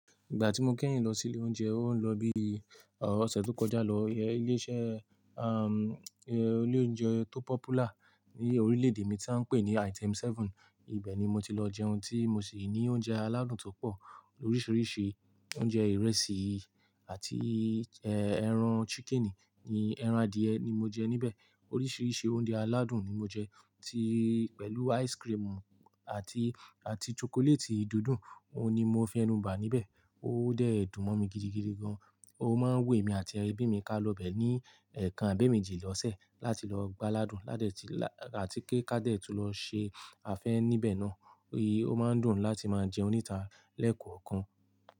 Ìgbà tí mo kẹ́yìn lọ sí ilé oúnjẹ, ó ń lọ bí ọ̀sẹ̀ tó kọjá lọ. Ilé iṣẹ́ aam, ilé oúnjẹ tó popular ní orílẹ̀ èdè mi tí áá ń pè ní Item Seven. Ibẹ̀ ni mo ti lọ jẹ ohun tí mo sì ní oúnjẹ aládùn tó pọ̀. Oríṣiríṣi oúnjẹ ìrẹsì àti ẹran ṣíkìnì. Ni ẹran adìẹ ni mo jẹ níbẹ̀. Oríṣiríṣi oúnjẹ aládùn ni mo jẹ, tí pẹ̀lú ice cream àti, àti chocolate dídùn, òun ni mo fẹ́ nù bá níbẹ̀. Ó dẹ́ẹ̀dùn mọ́ mi gidigidi gan. Ó máa ń wù èmi àti ẹbí mi ká lọ bẹ̀ ní ẹ̀ẹ̀kan abẹ́méjì lọ́sẹ̀ láti lọ gbá aládùn ládẹ̀ tí la-- àti kí ká dẹ̀tú lọ ṣe àfẹ́ níbẹ̀ náà. Ó máa ń dùn láti máa jẹún nítà lẹ́ẹ̀kọ̀ọ̀kan.